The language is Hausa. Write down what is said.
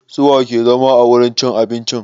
Su wa ke zama a wurin cin abincin?